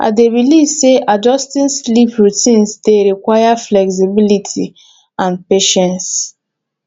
i dey believe say adjusting sleep routines dey require flexibility and patience